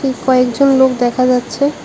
কয়েকজন লোক দেখা যাচ্ছে।